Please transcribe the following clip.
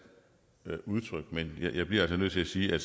udtryk men jeg bliver altså nødt til sige at